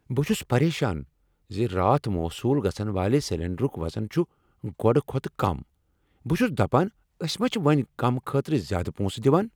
بہٕ چھس پریشان ز راتھ موصول گژھن والِہ سلنڈرک وزن چھ گۄڈٕ کھوتہٕ کم۔ بہٕ چھس دپان أسۍ ما چھ وۄنۍ کم خٲطرٕ زیادٕ پونسہٕ دوان۔